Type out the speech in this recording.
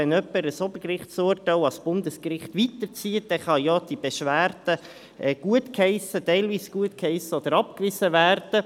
Wenn jemand somit ein Obergerichtsurteil an das Bundesgericht weiterzieht, dann kann diese Beschwerde gutgeheissen, teilweise gutgeheissen oder abgewiesen werden.